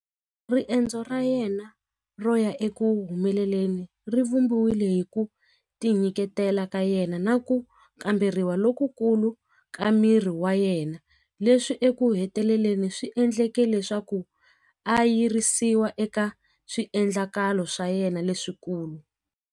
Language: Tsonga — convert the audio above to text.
Riendzo ra yena ro ya eku humeleleni ri vumbiwile hi ku tinyiketela ka yena na ku kamberiwa lokukulu ka miri wa yena leswi eku heteleleni swi endleke leswaku a yirisiwa eka swiendlakalo swa yena leswikulu.